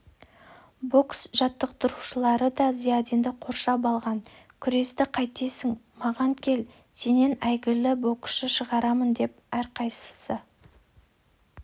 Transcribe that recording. бокс жаттықтырушылары да зиядинді қоршап алған күресті қайтесің маған кел сенен әйгілі боксшы шығарамын деп әрқайсысы